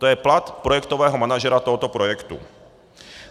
To je plat projektového manažera tohoto projektu.